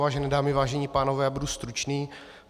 Vážené dámy, vážení pánové, já budu stručný.